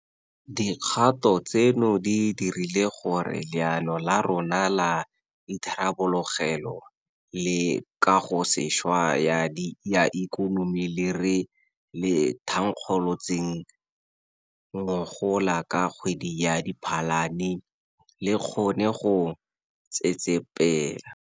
Dikgato tseno di dirile gore Leano la rona la Itharabologelo le Kagosešwa ya Ikonomi le re le thankgolotseng ngogola ka kgwedi ya Diphalane le kgone go tsetsepela.